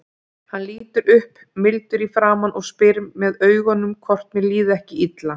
Hann lítur upp mildur í framan og spyr með augunum hvort mér líði ekki illa.